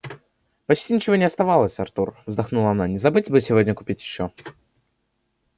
почти ничего не осталось артур вздохнула она не забыть бы сегодня купить ещё